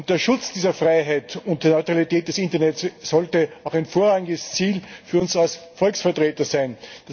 Der Schutz dieser Freiheit und der Neutralität des Internet sollte auch ein vorrangiges Ziel für uns als Volksvertreter sein.